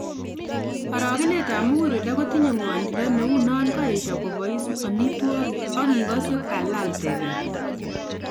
Arogenet ab muguleldo kotinye ngwonindo neu non koesho koboois amitwokik and igose kalal teget